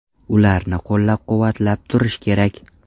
Ularni qo‘llab-quvvatlab turish kerak.